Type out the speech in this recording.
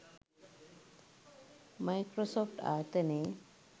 Microsoft ආයතනයේ